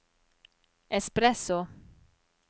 espresso